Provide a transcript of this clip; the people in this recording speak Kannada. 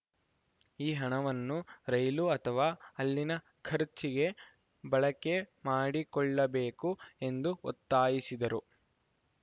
ಈ ಹಣವನ್ನು ರೈಲು ಅಥವಾ ಅಲ್ಲಿನ ಖರ್ಚಿಗೆ ಬಳಕೆ ಮಾಡಿಕೊಳ್ಳಬೇಕು ಎಂದು ಒತ್ತಾಯಿಸಿದರು